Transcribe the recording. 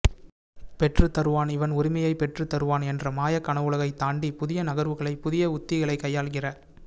பெற்றுத் தருவான் இவன் உரிமையை பெற்றுத் தருவான் என்ற மாயக் கனவுலகை தாண்டி புதிய நகர்வுகளை புதிய உத்திகளை கையாள்கிற